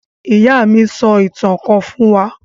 Ìyá mi sọ ìtàn kan fún wa.